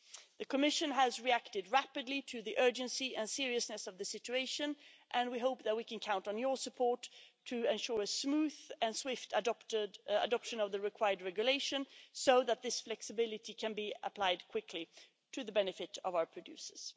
The Commission has reacted rapidly to the urgency and seriousness of the situation and we hope that we can count on your support to ensure a smooth and swift adoption of the required regulation so that this flexibility can be applied quickly, to the benefit of our producers.